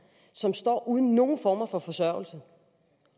som står uden nogen former for forsørgelse